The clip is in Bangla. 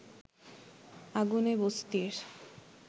আগুনে বস্তির